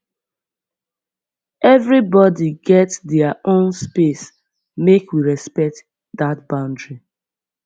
everybodi get their own space make we respect dat boundary